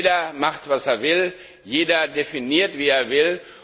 Jeder macht, was er will, jeder definiert, wie er will.